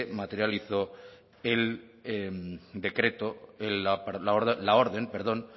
materializó el decreto la orden perdón